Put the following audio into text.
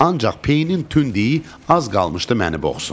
Ancaq peyinin tünd iyi az qalmışdı məni boğsun.